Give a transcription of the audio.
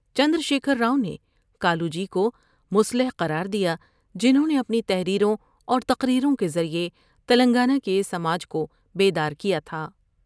چندرشیکھر راؤ نے کا لوجی کو مصلح قرار دیا جنھوں نے اپنی تحریروں اور تقریروں کے ذریعے تلنگانہ کے سماج کو بیدار کیا تھا ۔